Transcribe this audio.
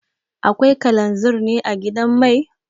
Akwai kalanzir ne a gidan mai?